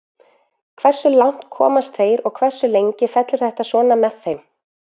Hversu langt komast þeir og hversu lengi fellur þetta svona með þeim.